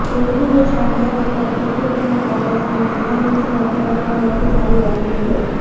દિલ્હીની સરહદો પર ખેડુતોના કાયદા સામે આંદોલન છેલ્લા બે અઠવાડિયાથી ચાલી રહ્યું છે